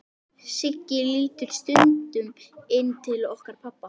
Siggi lítur stundum inn til okkar pabba.